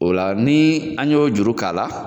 O la ni an y'o juru k'a la